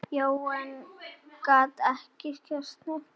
Jóel gat ekki varist hlátri.